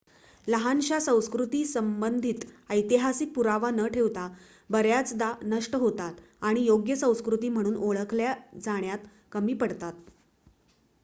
लहानशा संस्कृती संबंधित ऐतिहासिक पुरावा न ठेवता बऱ्याचदा नष्ट होतात आणि योग्य संस्कृती म्हणून ओळखल्या जाण्यात कमी पडतात